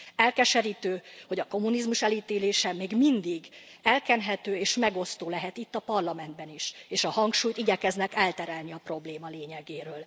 Elkeserítő, hogy a kommunizmus elítélése még mindig elkenhető és megosztó lehet, itt, a Parlamentben is, és a hangsúlyt igyekeznek elterelni a probléma lényegéről.